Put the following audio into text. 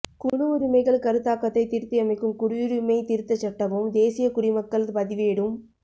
குழு உரிமைகள் கருத்தாக்கத்தை திருத்தியமைக்கும் குடியுரிமைத் திருத்தச் சட்டமும் தேசிய குடிமக்கள் பதிவேடும்